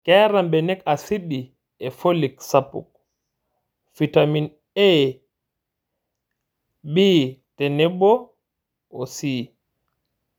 Keeta mbenek asidi e folic sapuk, fitamen A,B tenebo C.